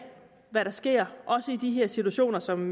hvad der sker også i de her situationer som